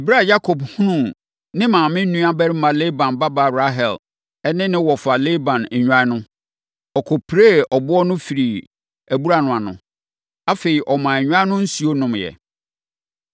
Ɛberɛ a Yakob hunuu ne maame nuabarima Laban babaa Rahel ne ne wɔfa Laban nnwan no, ɔkɔpiree ɛboɔ no firii abura no ano. Afei, wɔmaa nnwan no nsuo nomeeɛ.